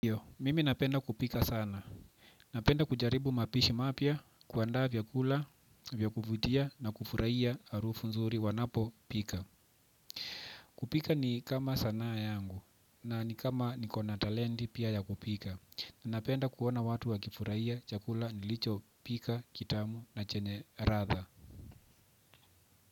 Yo, mimi napenda kupika sana. Napenda kujaribu mapishi mapya, kuandaa vyakula, vya kuvutia na kufurahia harufu nzuri wanapo pika. Kupika ni kama sanaa yangu, na ni kama ni kona talenti pia ya kupika. Napenda kuona watu wa kifurahia, chakula, nilicho pika, kitamu, na chenye radha.